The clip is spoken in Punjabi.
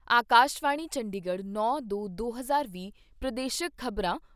ਅਕਾਸ਼ਵਾਣੀ ਚੰਡੀਗੜ੍ਹ ਪ੍ਰਦੇਸ਼ਕ ਖ਼ਬਰਾਂ